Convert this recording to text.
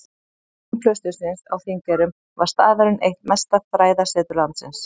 Á tímum klaustursins á Þingeyrum var staðurinn eitt mesta fræðasetur landsins.